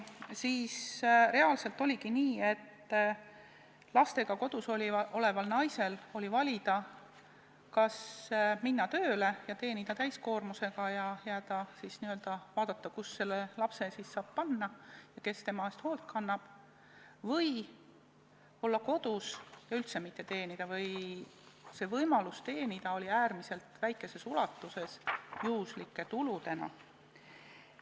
Siis reaalselt oligi nii, et lastega kodus oleval naisel oli valida, kas minna täiskoormusega tööle ja teenida raha ning vaadata, kuhu lapse saab panna ja kes tema eest hoolt kannab, või olla kodus ja üldse mitte teenida või oli võimalus teenida äärmiselt väikeses ulatuses, juhuslike tuludena.